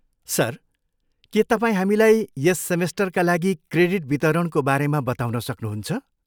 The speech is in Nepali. सर, के तपाईँ हामीलाई यस सेमेस्टरका लागि क्रेडिट वितरणको बारेमा बताउन सक्नुहुन्छ?